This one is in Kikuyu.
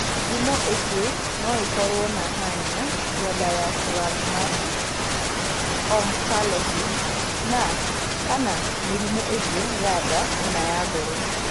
Ngumo ingĩ no ikorũo na hernia ya diaphragmatic, omphalocele, na/kana mĩrimũ ĩngĩ ya nda kana ya ngoro.